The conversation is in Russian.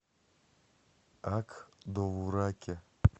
ак довураке